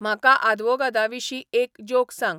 म्हाका आदवोगादांविशीं एक ज्योक सांग